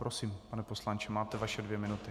Prosím, pane poslanče, máte své dvě minuty.